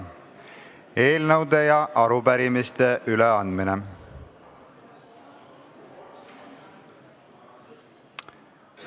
Eelnõude ja arupärimiste üleandmine.